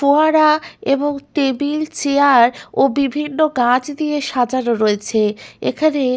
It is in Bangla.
ফোয়ারা এবং টেবিল চেয়ার ও বিভিন্ন গাছ দিয়ে সাজানো রয়েছে এখানে--